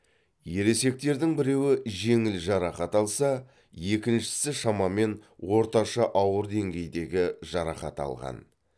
ересектердің біреуі жеңіл жарақат алса екіншісі шамамен орташа ауыр деңгейдегі жарақат алған